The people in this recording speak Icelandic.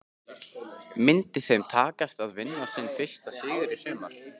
Myndi þeim takast að vinna sinn fyrsta sigur í sumar?